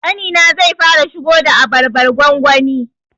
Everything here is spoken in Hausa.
Ƙanina zai fara shigo da abarbar gwangwani